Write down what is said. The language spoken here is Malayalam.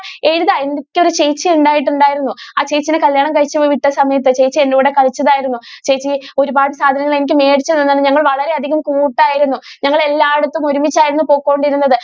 എഴുതാ എനിക്ക് ഒരു ചേച്ചി ഉണ്ടായിട്ട് ഉണ്ടായിരുന്നു ആ ചേച്ചീനെ കല്യാണം കഴിച്ചു വിട്ട സമയത്തു ചേച്ചി എൻ്റെ കൂടെ കളിച്ചതായിരുന്നു ചേച്ചി ഒരുപാട് സാധനങ്ങൾ എനിക്ക് മേടിച്ചു തന്നിരുന്നു ഞങ്ങൾ വളരെ അധികം കൂട്ട് ആയിരുന്നു ഞങ്ങൾ എല്ലാ ഇടതും ഒരുമിച്ച് ആയിരുന്നു പൊക്കോണ്ടിരുന്നത്.